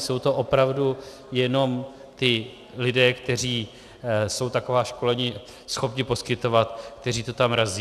Jsou to opravdu jenom ti lidé, kteří jsou taková školená schopni poskytovat, kteří to tam razí.